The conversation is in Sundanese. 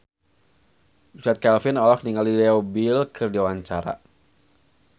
Richard Kevin olohok ningali Leo Bill keur diwawancara